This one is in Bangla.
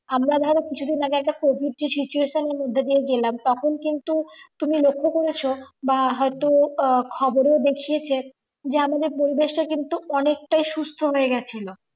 আমরা ধরো কিছু দিন আগে একটা covid যে situation এর মধ্যে দিয়ে গেলাম তখন কিন্তু তুমি লক্ষ্য করেছো বা হয়তো খবরেও দেখিয়েছে যে আমাদের পরিবেশটা কিন্তু অনেকটাই সুস্থ হয়ে গেছিলো